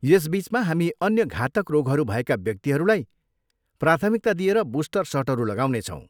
यस बिचमा हामी अन्य घातक रोगहरू भएका व्यक्तिहरूलाई प्राथमिकता दिएर बुस्टर सटहरू लगाउने छौँ।